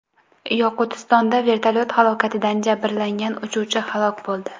Yoqutistonda vertolyot halokatidan jabrlangan uchuvchi halok bo‘ldi.